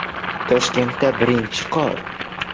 Toshkentda birinchi qor!